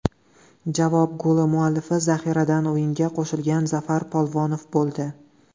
Javob goli muallifi zaxiradan o‘yinga qo‘shilgan Zafar Polvonov bo‘ldi.